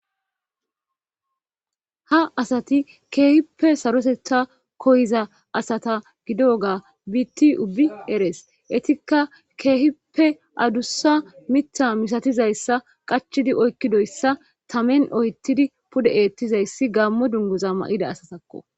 ha asati keehippe saroteta koyiza asata gido gaa biiti ubi eres etikka keehippe adussa mita misatizayssa qachidi oykkidoyssa tamen oyttidi pude eettizayssi gaammo dunguza ma7ida asatakko